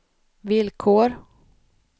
villkor